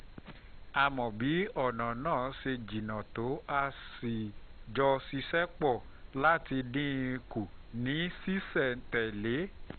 a mọ bí ọ̀nà náà ṣe jìnnà tó a sì jọ ṣiṣẹ́ pọ̀ láti dín in kù ní ṣísẹ̀-n-tẹ̀lé